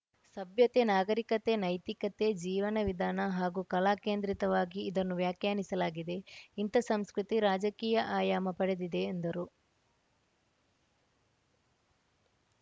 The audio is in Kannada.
ಸಭ್ಯತೆ ನಾಗರಿಕತೆ ನೈತಿಕತೆ ಜೀವನ ವಿಧಾನ ಹಾಗೂ ಕಲಾ ಕೇಂದ್ರಿತವಾಗಿ ಇದನ್ನು ವ್ಯಾಖ್ಯಾನಿಸಲಾಗಿದೆ ಇಂಥ ಸಂಸ್ಕೃತಿ ರಾಜಕೀಯ ಆಯಾಮ ಪಡೆದಿದೆ ಎಂದರು